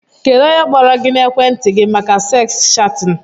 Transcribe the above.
Kedụ ónyé kpọrọ gị n'ekwenti gị màkà seks chatin?